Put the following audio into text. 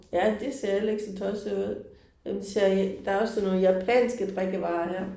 Ja det ser heller ikke så tosset ud det ser er også sådan nogle japanske drikkevarer her